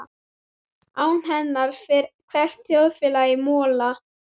Án hennar fer hvert þjóðfélag í mola.